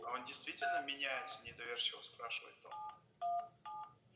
а он действительно меняется недоверчиво спрашивает он